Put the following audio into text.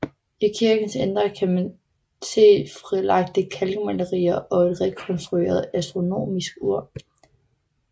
I kirkens indre kan ses frilagte kalkmalerier og et rekonstrueret astronomisk ur